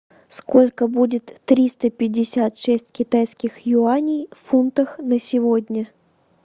сколько будет триста пятьдесят шесть китайских юаней в фунтах на сегодня